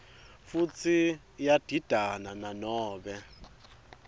futsi iyadidana nanobe